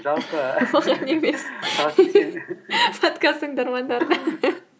жалпы подкаст тыңдармандарына